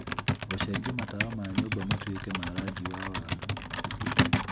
gũcenjia matawa ma nyũmba matuĩke ma rangi wa waru